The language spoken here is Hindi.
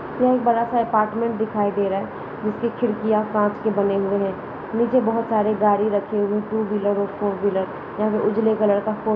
यह एक बड़ा सा अपार्टमेंट दिखाई दे रहा है जिसकी खिड़कियां कांच के बने हुए हैं। नीचे बोहोत सारे गाड़ी रखे हुए टू व्हीलर और फ़ोर व्हीलर । यह उजले कलर का फ़ो --